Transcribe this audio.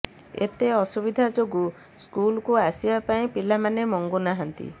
ଏତେ ଅସୁବିଧା ଯୋଗୁଁ ସ୍କୁଲକୁ ଆସିବା ପାଇଁ ପିଲାମାନେ ମଙ୍ଗୁ ନାହାନ୍ତି